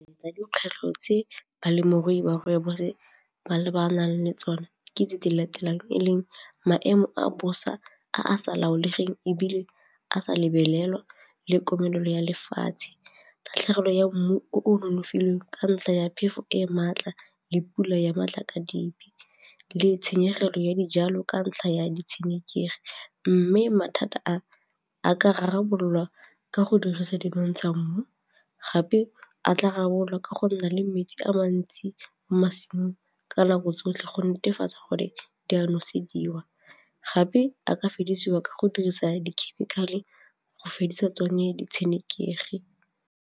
Tsa dikgwetlho tse balemirui ba rooibos ba ba nang le tsone ke tse di latelang e leng maemo a bosa a a sa laolegeng ebile a sa lebelelwa le komelelo ya lefatshe, kgatlhegelo ya mmu o o nonofileng ka ntlha ya phefo e e maatla le pula ya matla ka dibe le tshenyegelo ya dijalo ka ntlha ya ditshenekegi mme mathata a a ka rarabololwa ka go dirisa dinontsha mmu gape a tla rarabolwa ka go nna le metsi a mantsi mo mašwing ka nako tsotlhe go netefatsa gore di a nosediwa gape a ka fedisiwa ka go dirisa dikhemikale go fedisa tsone ditshenekegi.